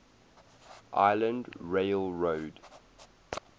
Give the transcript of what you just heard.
island rail road